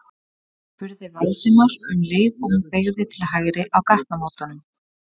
spurði Valdimar um leið og hún beygði til hægri á gatnamótunum.